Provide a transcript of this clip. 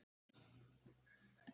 Það stendur mikið til núna.